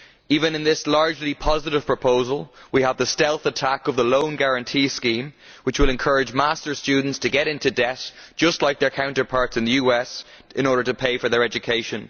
Even in this largely positive proposal we have the stealth attack of the loan guarantee scheme, which will encourage Master's students to get into debt just like their counterparts in the US in order to pay for their education.